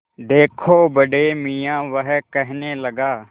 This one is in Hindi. देखो बड़े मियाँ वह कहने लगा